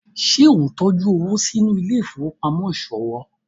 ṣe o ntọjú owo sínú Ile-ifowopamọ iṣowo?